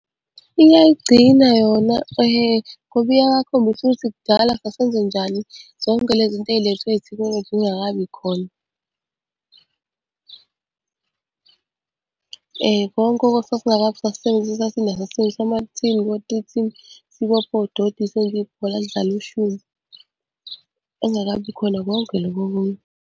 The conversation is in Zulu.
Iyayigcina yona ngoba iyabakhombisa ukuthi kudala sasenze njani zonke le zinto ey'lethwe ithekhinoloji zingakabi khona. Konke sisebenzisa amathini, o-three tin, sibophe odoti senze ibhola sidlale ushumpu. Kwakungakabi khona konke lokhu okunye.